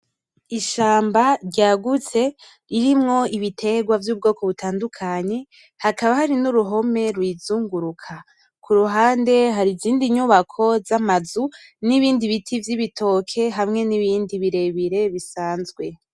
Ishamba ryagutse ririmwo ibiterwa vy'ubwoko butandukanye hakaba hari n'uruhome ruyizunguruka kuruhande hari izindi nyubako z'amazu n'ibindi biti vy'ibitoke hamwe n'ibindi birebire bisanzwe.